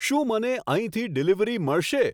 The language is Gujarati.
શું મને અહીંથી ડીલિવરી મળશે